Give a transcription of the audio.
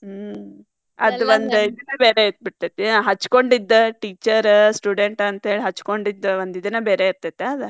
ಹ್ಮ್‌ ಅದ್ ಒಂದ್ ಬ್ಯಾರೆ ಇರ್ತೇತಿ ಹಚ್ಚಕೊಂಡಿದ್ದ teacher student ಅಂತೇಳಿ ಹಚ್ಕೊಂಡಿದ್ದ ಒಂದ್ ಇದನ್ ಬೇರೆ ಇರ್ತೇತಾ ಅದ.